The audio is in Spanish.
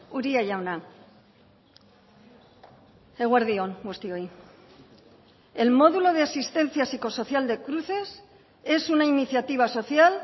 uria jauna eguerdi on guztioi el módulo de asistencia psicosocial de cruces es una iniciativa social